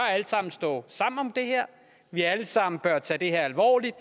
stå sammen om det her at vi alle sammen bør tage det her alvorligt